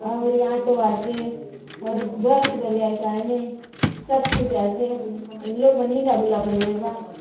और यहाँ ऑटो आचे और बस बले आय काय ने सब कुछ आचे इन लोग मानिना बुलवाल लोए बा --